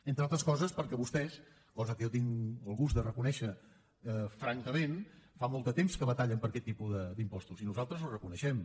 entre altres coses perquè vostès cosa que jo tinc el gust de reconèixer francament fa molt de temps que batallen per aquest tipus d’impostos i nosaltres ho reconeixem